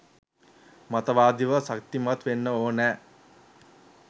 මතවාදීව ශක්තිමත් වෙන්න ඕන.